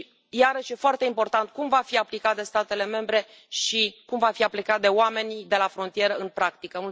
Iarăși, e foarte important cum va fi aplicat de statele membre și cum va fi pus de oamenii de la frontieră în practică.